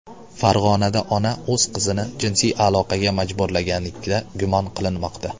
Farg‘onada ona o‘z qizini jinsiy aloqaga majburlaganlikda gumon qilinmoqda.